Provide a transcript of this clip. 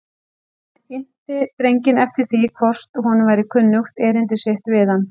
Hann innti drenginn eftir því hvort honum væri kunnugt erindi sitt við hann.